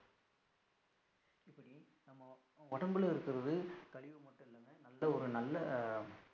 உடம்புல இருக்குறது கழிவு மட்டும் இல்லங்க நல்ல ஒரு நல்ல